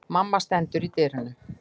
Mamma stendur í dyrunum.